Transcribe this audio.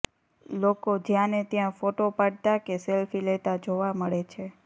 લોકો જ્યાં ને ત્યાં ફોટો પાડતા કે સેલ્ફી લેતા જોવા મળે છે